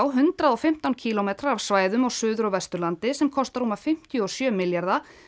hundrað og fimmtán kílómetrar af framkvæmdarsvæðum á Suður og Vesturlandi sem kosta rúma fimmtíu og sjö milljarða